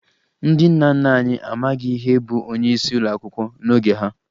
Ndị nna nna anyị amaghị ihe bụ onyeisi ụlọakwụkwọ n'oge ha